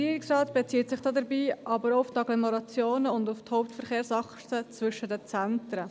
Der Regierungsrat bezieht sich dabei aber auch auf die Agglomerationen und auf die Hauptverkehrsachsen zwischen den Zentren.